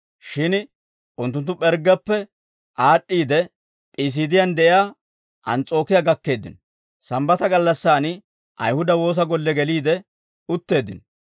Shin unttunttu P'erggeppe aad'd'iide, P'iisiidiyan de'iyaa Ans's'ookiyaa gakkeeddino; Sambbata gallassan Ayihuda woosa golle geliide utteeddino.